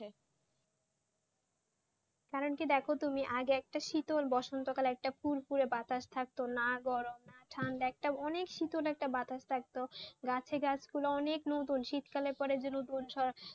কারণ কি দেখো তুমি আগে একটা শীতল বসন্ত কালে একটা ফুরফুরে বাতাস থাকত না গরম না ঠান্ডা অনেক শীতল একটা বাতাস থাকতো, গাছে গাছগুলো অনেক নতুন, শীতকালের পরে নতুন,